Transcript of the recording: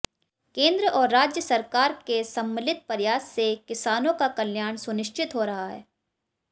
केंद्र और राज्य सरकार के सम्मलित प्रयास से किसानों का कल्याण सुनिश्चित हो रहा है